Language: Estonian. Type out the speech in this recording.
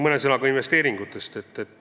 Mõni sõna ka investeeringutest.